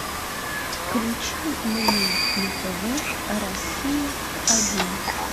включи мне на тв россия один